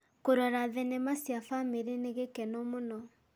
Kũrora thenema cia bamĩrĩ nĩ gĩkeno mũno.